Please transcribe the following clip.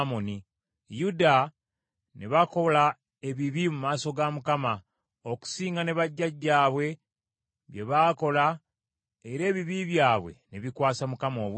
Yuda ne bakola ebibi mu maaso ga Mukama , okusinga ne bajjajjaabwe bye baakola era ebibi byabwe ne bikwasa Mukama obuggya.